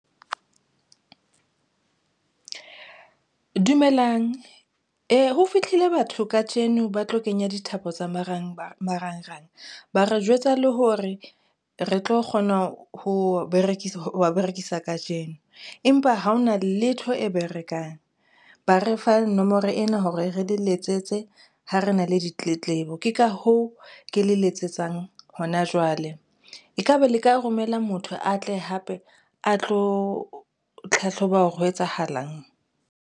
Dumelang ho fihlile batho kajeno ba tlo kenya dithapo tsa marangrang ba re jwetsa le hore re tlo kgona ho berekisa kajeno, empa ha hona letho e berekang. Ba re fa nomoro ena hore re di letsetse ha re na le ditletlebo, ke ka hoo ke le letsetsang hona jwale. E ka ba le ka romela motho a tle hape a tlo tlhahloba hore ho etsahalang?